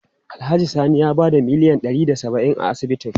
Alhaji Sani ya bada miliyan ɗari da saba'in a asibitin.